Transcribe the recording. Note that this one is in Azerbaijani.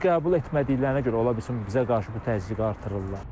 Bunu qəbul etmədiklərinə görə ola bilsin bizə qarşı bu təzyiqi artırırlar.